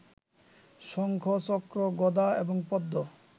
শঙ্খ, চক্র, গদা এবং পদ্ম